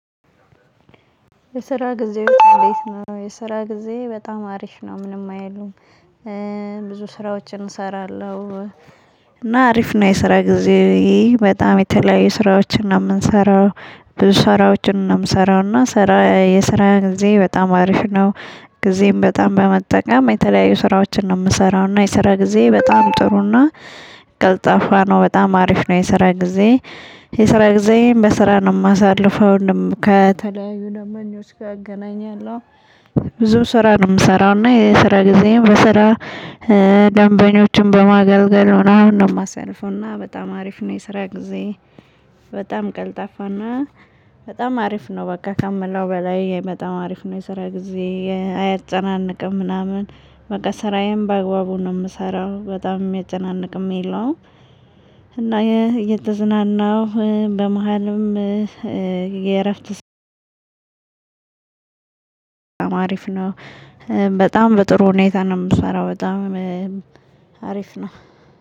የስራ ጊዜ ነው የስራ ጊዜ በጣም አሪፍ ነው ምንም አይልም። ብዙ ስራዎችን እሰራለሁ እና አሪፍ ነው የስራ ጊዜ። በጣም የተለያዩ ስራዎችን ነው የምንሰራው። ብዙ ስራዎችን ነው የምሰራው እና ስራ የስራ ጊዜ በጣም አሪፍ ነው። ጊዜም በጣም በመጠቀም የተለያዩ ስራዎችን ነው የምሰራው። እና የስራ ጊዜ በጣም ጥሩ እና ቀልጣፋ ነው። በጣም አሪፍ ነው የሰራ ጊዜ። የሰራ ጊዜየን በስራ ነው የማሳልፈው ከተለያዩ ደንበኞች ጋር እገናኛለሁ። ብዙ ስራ ነው የምሰራው እና የስራ ጊዜም በስራ ደንበኞችን በማገልገል ነው ምናምን ነው የማሳልፈው። እና በጣም አሪፍ ነው። የስራ ጊዜ። በጣም ቀልጣፋና በጣም አሪፍ ነው። በቃ ከምለው በላይ በጣም አሪፍ ነው። የሰራ ጊዜ አያጨናንቅም ምናምን በቃ ስራዬም በአግባቡ ነው የምሰራው በጣም የሚያጨናንቅም የለውም። እና እየተዝናናው በመሃልም። የእረፍት አሪፍ ነው። በጣም በጥሩ ሁኔታ ነው የምሰራው በጣም አሪፍ ነው።